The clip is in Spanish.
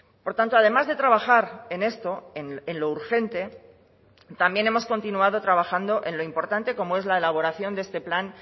por tanto además de trabajar en esto en lo urgente también hemos continuado trabajando en lo importante como es la elaboración de este plan